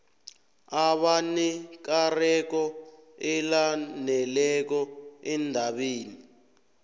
abanekareko elaneleko endabeni